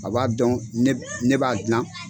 A b'a dɔn ne b'a gilan